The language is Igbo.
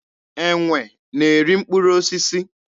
Enwe na-eri mkpụrụ osisi.